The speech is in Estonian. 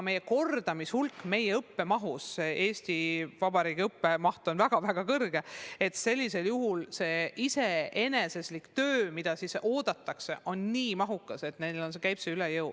Kordamise maht meie koolides on väga suur – Eesti Vabariigi õppemaht üldse on väga-väga suur – ja sellisel juhul iseseisev töö, mida õpilaselt oodatakse, on nii mahukas, et neile käib see üle jõu.